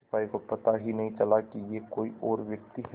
सिपाही को पता ही नहीं चला कि यह कोई और व्यक्ति है